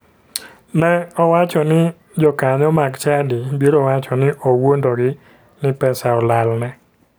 Ne owacho ni jokanyo mag chadi biro wacho ni owuondogi ni pesa olalne.